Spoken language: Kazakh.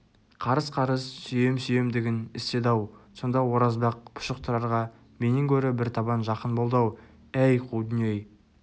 қарыс-қарыс сүйем-сүйемдігін істеді-ау сонда оразбақ пұшық тұрарға менен гөрі бір табан жақын болды-ау әй қу дүние-ай